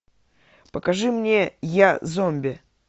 покажи мне я зомби